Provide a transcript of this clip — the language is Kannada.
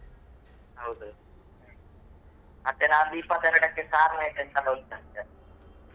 ಹೌದು ಮತ್ತೆ ನಾಳಿದ್ದು ಇಪ್ಪತ್ತೆರಡಕ್ಕೆ ಉಂಟಂತೆ.